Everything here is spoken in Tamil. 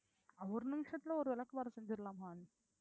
ஒரு நிமிஷத்துல ஒரு விளக்குமாறு செஞ்சிடலாமா